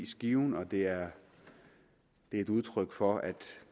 skiven og det er et udtryk for